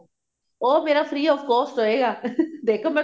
ਉਹ ਮੇਰਾ free of cost ਹੋਇਗਾ